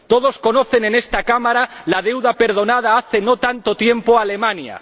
Todos conocen en esta Cámara la deuda perdonada hace no tanto tiempo a Alemania.